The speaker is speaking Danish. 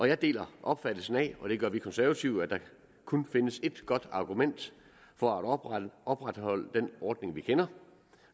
jeg deler opfattelsen af og det gør vi konservative at der kun findes et godt argument for at opretholde opretholde den ordning vi kender